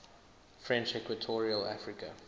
french equatorial africa